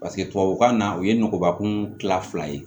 Paseke tubabukan na o ye nɔgɔba kun kila fila ye